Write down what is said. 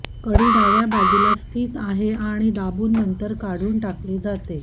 कडी डाव्या बाजूला बाजूला स्थित आहे आणि दाबून नंतर काढून टाकले जाते